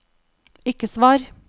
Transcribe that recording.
ikke svar